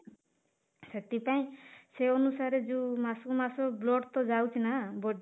ସେଥିପାଇଁ ସେ ଅନୁସାରେ ଯୋଉ ମାସକୁ ମାସ blood ତ ଯାଉଛି ନା